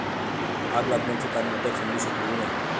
आग लागण्याचे कारण अद्याप समजू शकलेले नाही.